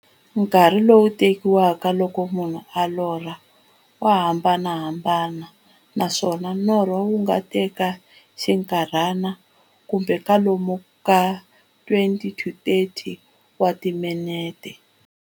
Nkarhi lowu tekiwaka loko munhu a lorha, wa hambanahambana, naswona norho wu nga teka xinkarhana, kumbe kwalomu ka 20-30 wa timinete.